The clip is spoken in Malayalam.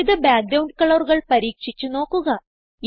വിവിധ ബാക്ക്ഗ്രൌണ്ട് കളറുകൾ പരീക്ഷിച്ച് നോക്കുക